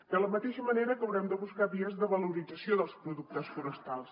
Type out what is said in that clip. de la mateixa manera que haurem de buscar vies de valorització dels productes forestals